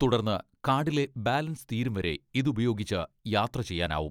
തുടർന്ന് കാഡിലെ ബാലൻസ് തീരും വരെ ഇതുപയോഗിച്ച് യാത്ര ചെയ്യാനാവും.